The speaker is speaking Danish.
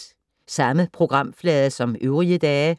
Samme programflade som øvrige dage